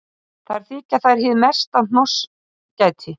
Þar þykja þær hið mesta hnossgæti.